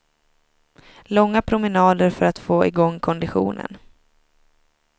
Långa promenader för att få igång konditionen.